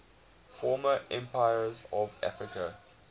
former empires of africa